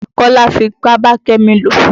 Kọ́lá fipá bá Kẹ́mi lò.